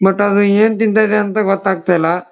But ಅದ ಏನ್ ತಿಂತದೆ ಅಂತ ಗೊತ್ತಾಗ್ತ ಇಲ್ಲ.